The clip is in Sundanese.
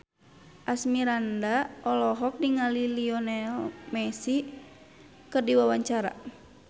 Asmirandah olohok ningali Lionel Messi keur diwawancara